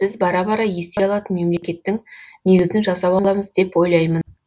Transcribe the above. біз бара бара ести алатын мемлекеттің негізін жасап аламыз деп ойлаймын